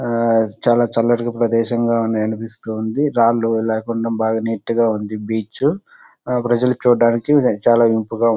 చాలా చల్లటిగా ప్రదేశంగా ఉంది అనిపిస్తుంది. రాళ్లు లేకుండా బాగా నీట్ గా ఉంది బీచ్ . ప్రజలు చూడడానికి చాలా ఇంపుగా ఉంటుంది.